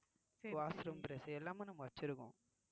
washroom brush எல்லாமே நம்ம வச்சிருக்கோம்